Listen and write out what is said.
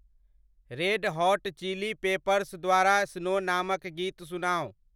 Red Hot Chili Peppers द्वारा Snow नामक गीत सुनाउ ।